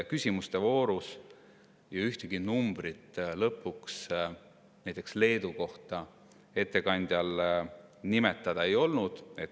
Küsimuste voorus ju ühtegi numbrit lõpuks näiteks Leedu kohta ettekandjal nimetada ei olnud.